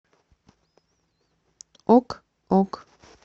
ок ок